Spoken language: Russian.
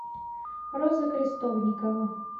роза крестовникова